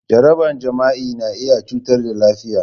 Jaraban jima'i na iya cutar da lafiya.